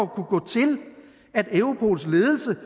kunne gå til at europols ledelse